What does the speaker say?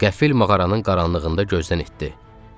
Qəfil mağaranın qaranlığında gözdən itdi.